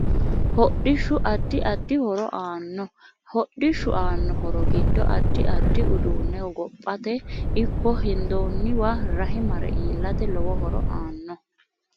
Hodhishu addi addi horo aanno hodhishu aanno horo giddo addi addi uduune hogophate ikko hendooniwa rahe mare iilate lowo horo aanno